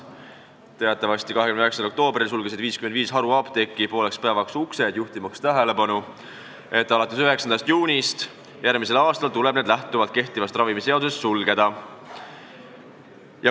Teatavasti sulgesid 55 haruapteeki 29. oktoobril pooleks päevaks uksed juhtimaks tähelepanu, et alates 9. juunist järgmisel aastal tuleb need apteegid lähtuvalt kehtivast ravimiseadusest sulgeda.